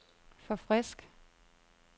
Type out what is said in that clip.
forfrisk